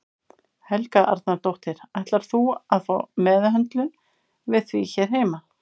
Helga Arnardóttir: Ætlar þú að fá meðhöndlun við því hér heima?